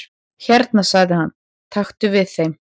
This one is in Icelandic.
"""Hérna sagði hann, taktu við þeim"""